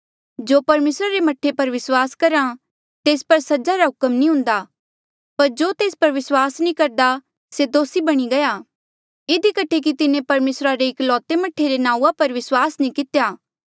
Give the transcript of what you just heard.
जो परमेसरे रे मह्ठे पर विस्वास करहा तेस पर सजा रा हुक्म नी हुन्दा पर जो तेस पर विस्वास नी करदा से दोसी बणी गया इधी कठे कि तिन्हें परमेसरा रे एकलौते मह्ठे रे नांऊँआं पर विस्वास नी कितेया